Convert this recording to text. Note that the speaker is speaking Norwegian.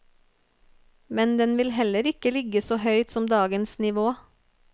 Men den vil heller ikke ligge så høyt som dagens nivå.